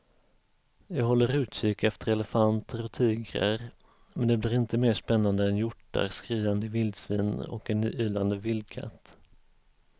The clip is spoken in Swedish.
Jag håller utkik efter elefanter och tigrar men det blir inte mer spännande än hjortar, skriande vildsvin och en ylande vildkatt.